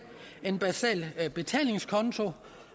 en basal betalingskonto